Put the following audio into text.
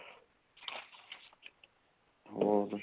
ਹੋਰ